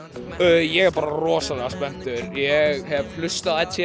ég er bara rosalega spenntur hef hlustað á